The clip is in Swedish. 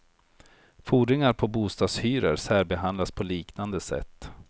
Fordringar på bostadshyror särbehandlas på liknande sätt.